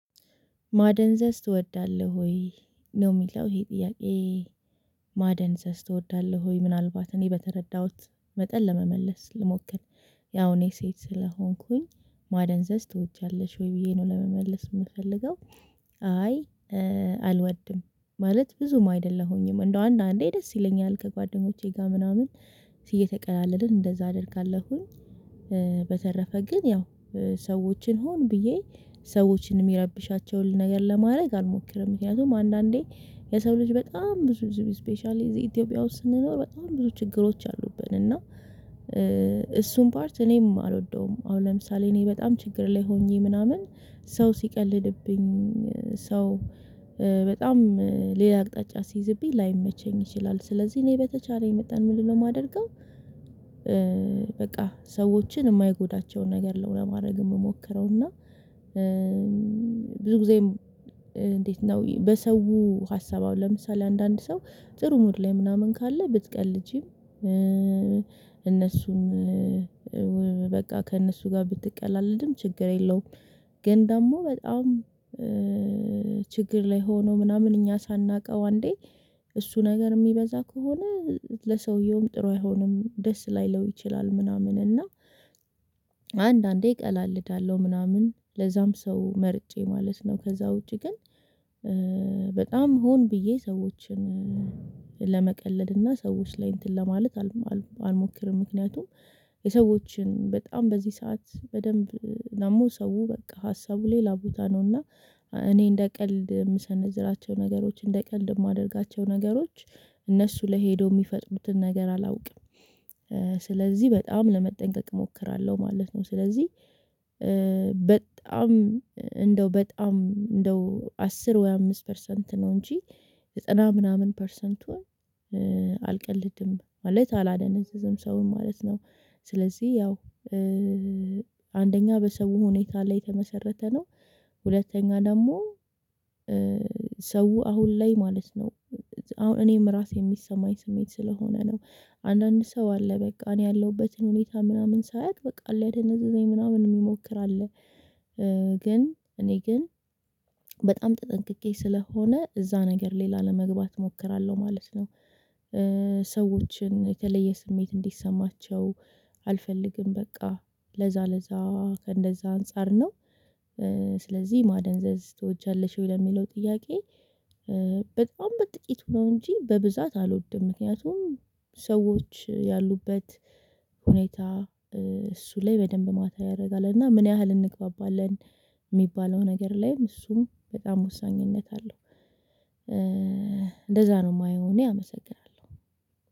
ማደንዘዝ ትወዳለህ ወይ ነው የሚለው ይሄ ጥያቄ? ማደንዘዝ ትወዳለህ ወይ ምናልባት እኔ በተረዳሁት መጠን ለመመለስ ልሞክል ያው እኔ ሴት ስለሆንኩኝ ማደንዘዝ ትወጃለሽ ወይ ብዬ ነው ለመመለስ የምፈልገው አይ አልወድም ማለት ብዙም አይደለሁኝም እንደው አንዳንዴ ደስ ይለኛል ከጓደኞቼ ጋር ምናምን እየተቀላለድን እንደዛ አደርጋለሁኝ። በተረፈ ግን ያው ሰዎችን ሆን ብዬ ሰዎችን የሚረብሻቸውን ነገር ለማድረግ አልሞክርም ምክንያቱም አንዳንዴ የሰው ልጅ በጣም ብዙ ስፔሻሊ ኢትዮጵያ ውስጥ ስንኖር በጣም ብዙ ችግሮች አሉብን እና እሱን ፓርት እኔም አልወደውም። አሁን ለምሳሌ እኔ በጣም ችግር ላይ ሆኜ ምናምን ሰው ሲቀልድብኝ ሰው በጣም ሌላ አቅጣጫ ሲይዝብኝ ላይመቸኝ ይችላል። ስለዚህ እኔ በተቻለኝ መጣን ምን ልለው የማደርገው በቃ ሰዎችን የማይጎዳቸውን ነገር ነው ለማድረግ የምሞክረው። እና ብዙ ጊዜም እንዴት ነው በሰው ሀሳባዊ ለምሳሌ አንዳንድ ሰው ጥሩ ሙድ ላይ ምናምን ካለ ብትቀልጂም እነሱን በቃ ከእነሱ ጋር ብትቀላልድም ችግር የለውም። ግን ደግሞ በጣም ችግር ላይ ሆኖ ምናምን እኛ ሳናውቀው አንዴ እሱ ነገር የሚበዛ ከሆነ ለሰውየውም ጥሩ አይሆንም ደስ ላይለው ይችላል ምናምን እና አንዳንዴ እቀላልዳለሁ ምናምን ለዛም ሰው መርጬ ማለት ነው። ከዛ ውጪ ግን በጣም ሆን ብዬ ሰዎችን ለመቀለድ እና ሰዎች ላይ እንትን ለማለት አልሞክርም። ምክንያቱም የሰዎችን በጣም በዚህ ሰዓት በደንብ ደግሞ ሰው በቃ ሀሳቡ ሌላ ቦታ ነውና እኔ እንደ ቀልድ የምሰነዝራቸው ነገሮች እንደ ቀልድ የማደርጋቸው ነገሮች እነሱ ላይ ሄደው የሚፈጥሩትን ነገር አላውቅም ስለዚህ በጣም ለመጠንቀቅ እሞክራለሁ ማለት ነው። ስለዚህ በጣም እንደው በጣም እንደው አስር ወይ አምስት ፐርሰንት ነው እንጂ ዘጠና ምናምን ፐርሰንቱን አልቀልድም ማለት አላደነዘዘም ሰውን ማለት ነው። ስለዚህ ያው አንደኛ በሰው ሁኔታ ላይ የተመሰረተ ነው። ሁለተኛ ደግሞ ሰው አሁን ላይ ማለት ነው አሁን እኔም ራሴ የሚሰማኝ ስሜት ስለሆነ ነው። አንዳንድ ሰው አለ በቃ እኔ ያለሁበትን ሁኔታ ምናምን ሳያውቅ በቃ ሊያደነዘዘኝ ምናምን የሚሞክር አለ። ግን እኔ ግን በጣም ተጠንቅቄ ስለሆነ እዛ ነገር ላይ ላለመግባት እሞክራለሁ ማለት ነው። ሰዎችን የተለየ ስሜት እንዲሰማቸው አልፈልግም በቃ ለዛ ለዛ ከእንደዛ አንፃር ነው። ስለዚህ ማደንዘዝ ትወጃለሽ ወይ ለሚለው ጥያቄ? በጣም በጥቂቱ ነው እንጂ በብዛት አልወድም። ምክንያቱም ሰዎች ያሉበት ሁኔታ እሱ ላይ በደንብ ማተር ያደርጋል እና ምን ያህል እንግባባለን የሚባለው ነገር ላይም እሱም በጣም ወሳኝነት አለው። እንደዛ ነው የማየው እኔ አመሰግናለሁ።